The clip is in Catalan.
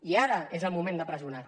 i ara és el moment de pressionar